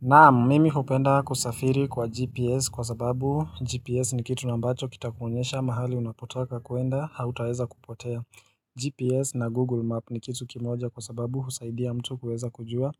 Naam, mimi hupenda kusafiri kwa GPS kwa sababu GPS ni kitu na ambacho kitakuonyesha mahali unapotaka kuenda hautaweza kupotea. GPS na Google Map ni kitu kimoja kwa sababu husaidia mtu kuweza kujua